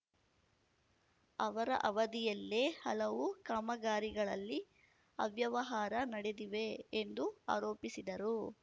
ಅವರ ಅವಧಿಯಲ್ಲೇ ಹಲವು ಕಾಮಗಾರಿಗಳಲ್ಲಿ ಅವ್ಯವಹಾರ ನಡೆದಿವೆ ಎಂದು ಆರೋಪಿಸಿದರು